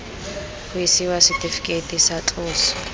ga isiwa setifikeiti tsa tloso